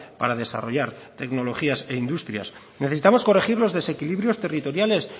para desarrollar tecnologías e industrias necesitamos corregir los desequilibrios territoriales